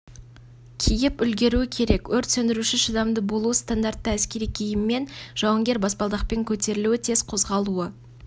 киіп үлгеруі керек өрт сөндіруші шыдамды болуы стандартты әскери киіммен жауынгер баспалдақпен көтерілуі тез қозғалуы